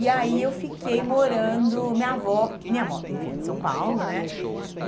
E aí, eu fiquei morando... Minha avó, minha avó, enfim, é de São Paulo, né?